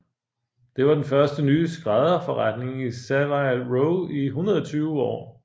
Dette var den første nye skrædderforretning i Savile Row i 120 år